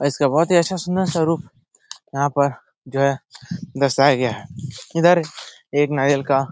और इसका बहुत ही अच्छा सूंदर स्वरुप यहाँ पर जो है दर्शाया गया है। इधर एक नारियल का --